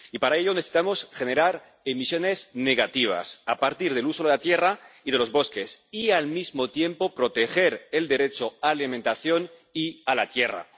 Y para ello necesitamos generar emisiones negativas a partir del uso de la tierra y de los bosques, y al mismo tiempo proteger el derecho a la alimentación y a la tierra.